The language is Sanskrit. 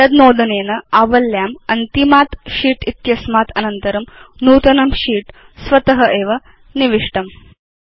एतद् नोदनेन आवल्यां अन्तिमात् शीत् इत्यस्मात् अनन्तरं नूतनं शीत् स्वत एव निविष्टम्